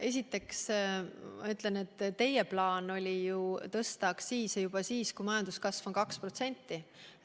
Esiteks ütlen, et teie plaan oli tõsta aktsiise juba siis, kui majanduskasv on 2%.